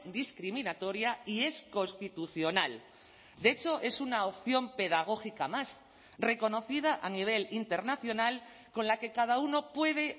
discriminatoria y es constitucional de hecho es una opción pedagógica más reconocida a nivel internacional con la que cada uno puede